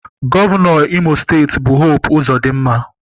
Gọvanọ Imo steeti bụ Hope Uzodinma.